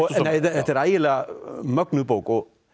þetta er ægilega mögnuð bók og